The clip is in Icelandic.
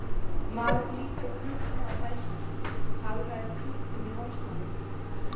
Maðurinn lítur á klukkuna og dæsir, hagræðir klútnum í hálsmálinu.